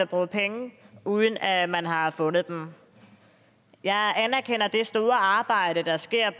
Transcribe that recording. bruge penge uden at man har fundet dem jeg anerkender det store arbejde der sker